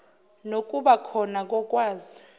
nokuba klhona kokwazi